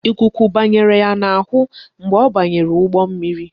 Ikuku bara ya n'ahụ mgbe ọ banyere ụgbọ mmiri.